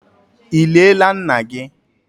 Ị liela nna gị?